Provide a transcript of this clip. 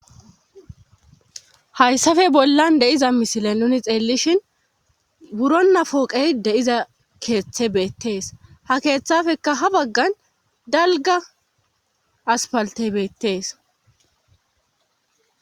Hayssafe bollan de'iza misile nuni xeellishin wurona pooqey de'iza keeththe beettees ha keeththafekka ha baggan dalgga aspalte beettees